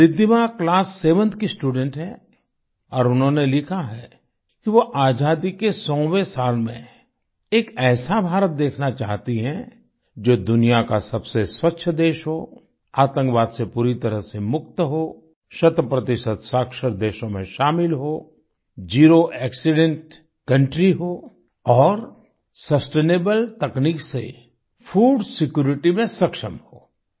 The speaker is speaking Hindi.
रिद्धिमा क्लास 7th की स्टूडेंट हैं और उन्होंने लिखा है कि वो आज़ादी के 100वें साल में एक ऐसा भारत देखना चाहती हैं जो दुनिया का सबसे स्वच्छ देश हो आतंकवाद से पूरी तरह से मुक्त हो शतप्रतिशत साक्षर देशों में शामिल हो ज़ेरो एक्सीडेंट कंट्री हो और सस्टेनेबल तकनीक से फूड सिक्यूरिटी में सक्षम हो